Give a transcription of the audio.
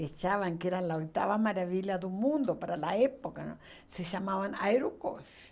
que achavam que era a oitava maravilha do mundo para a época, se chamavam aerocos.